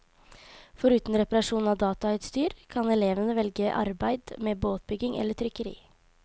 Foruten reparasjon av datautstyr kan elevene velge arbeid med båtbygging eller trykkeri.